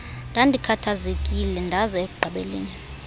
ndandikhathazekile ndaza ekugqibeleni